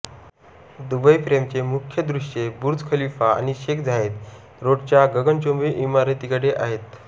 Dubai फ्रेमचे मुख्य दृश्ये बुर्ज खलिफा आणि शेख झायेद रोडच्या गगनचुंबी इमारतीकडे आहेत